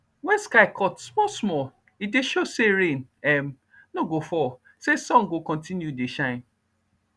when sky cut small small e dey show say rain um no go fall say sun go continue dey shine